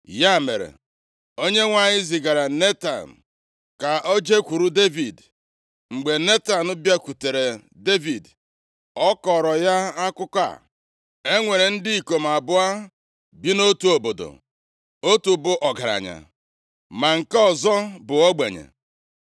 Ya mere, Onyenwe anyị zigara Netan ka o jekwuru Devid. Mgbe Netan bịakwutere Devid, ọ kọọrọ ya akụkọ a, “E nwere ndị ikom abụọ bi nʼotu obodo, otu bụ ọgaranya ma nke ọzọ bụ ogbenye.